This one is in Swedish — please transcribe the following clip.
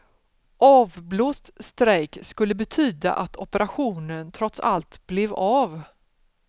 Avblåst strejk skulle betyda att operationen trots allt blev av.